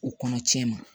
O kɔnɔ cɛn ma